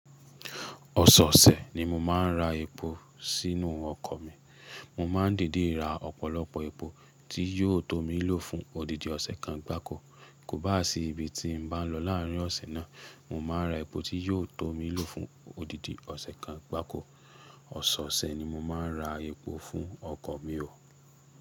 Ọ̀sọ̀ọ̀ṣẹ̀ ni mo máa ń ra epo sínú ọkọ̀ mi. Mo máa ń dìidii ra ọ̀pọ̀lọpọ̀ epo tí yóò tó mi ló fún odidi ọ̀sẹ̀ kan gbáko. Kò bá à sí ibi tí n bá n lọ láàárín ọ̀sẹ̀ náà, mo máa n ra epo tí yóò tó mi ló fún odidi ọ̀sẹ̀ kan gbáko. Ọ̀sọ̀ọ̀ṣẹ̀ ni mo máa ń ra epo fún ọkọ̀ mi o.